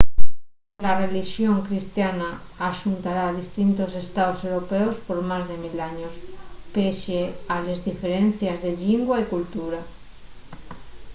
la relixón cristiana axuntara distintos estaos europeos por más de mil años pesie a les diferencies de llingua y cultura